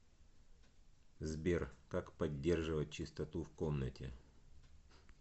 сбер как поддерживать чистоту в комнате